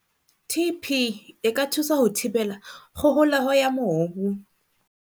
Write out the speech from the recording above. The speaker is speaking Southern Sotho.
TP e ka thusa ho thibela kgoholeho ya mobu.